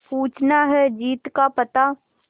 पूछना है जीत का पता